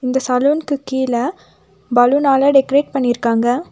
இந்த சலூன்க்கு கீழ பலூனால டெக்கரேட் பண்ணிருக்காங்க.